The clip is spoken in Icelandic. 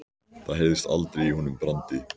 Það heyrðist aldrei í honum Brandi.